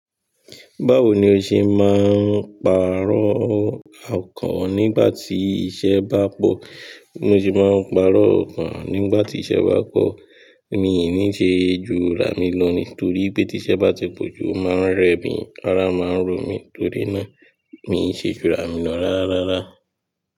Báwo ni ó ṣe máa ń pàrọ̀ ọkàn nígbà tí iṣẹ́ bá pọ̀? Bo ṣe máa ń pàrọ̀ ọkàn nígbà tí iṣẹ́ bá pọ̀. Mi i ní ṣe ju rà mí lọ ní torí pé tí iṣẹ́ bá ti pọ̀ jù o máa ń rẹ mi, ara máa ń ro mi, torí náà mi ṣe ju rà mí lọ rárá rárá.